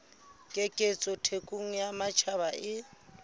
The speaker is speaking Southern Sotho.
keketseho thekong ya matjhaba e